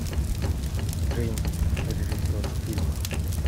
джеймс режиссер фильма